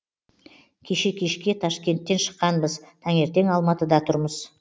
кеше кешке ташкенттен шыққанбыз таңертең алматыда тұрмыз